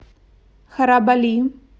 харабали